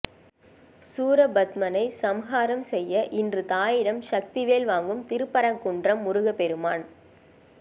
சூரபத்மனை சம்ஹாரம் செய்ய இன்று தாயிடம் சக்திவேல் வாங்கும் திருப்பரங்குன்றம் முருகப்பெருமான்